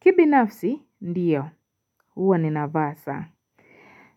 Kibi nafsi ndiyo huwa ni navasa